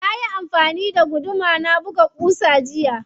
Nayi amfani da guduma na buga ƙusa jiya.